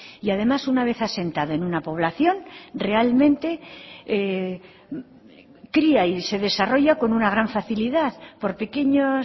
y además una vez asentado en una población realmente cría y se desarrolla con una gran facilidad por pequeños